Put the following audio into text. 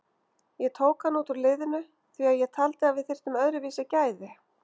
Ég tók hann út úr liðinu því að ég taldi að við þyrftum öðruvísi gæði.